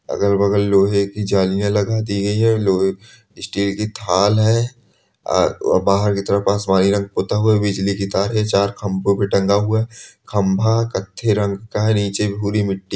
अगल बगल लोहे की जालियां लगा दी गई है स्टील की थाल है अ और बाहर की तरफ पानी रंग पूता हुआ है बिजली की तार है चार खम्बों पर टंगा हुआ है खम्बा कत्थई रंग का है नीचे भूरी मिट्टी--